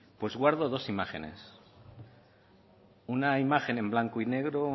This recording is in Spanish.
pues guardo dos imágenes una imagen en blanco y negro